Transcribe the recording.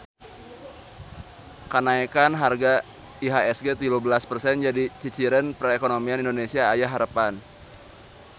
Kanaekan harga IHSG tilu belas persen jadi ciciren perekonomian Indonesia aya harepan